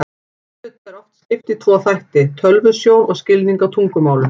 Þessum hluta er oft skipt í tvo þætti, tölvusjón og skilning á tungumálum.